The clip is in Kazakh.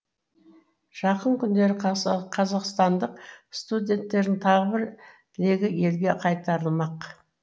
жақын күндері қазақстандық студенттердің тағы бір легі елге қайтарылмақ